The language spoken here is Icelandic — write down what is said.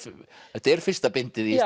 þetta er fyrsta bindið í